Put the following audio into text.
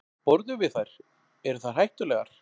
Borðum við þær, eru þær hættulegar?